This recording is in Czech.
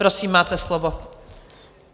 Prosím, máte slovo.